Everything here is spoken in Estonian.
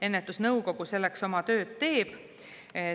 Ennetusnõukogu selleks oma tööd teeb.